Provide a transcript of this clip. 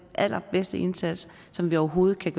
allerbedste indsats som vi overhovedet kan